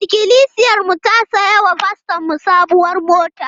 Ikilisiyarmu ta saya wa fastonmu sabuwar mota.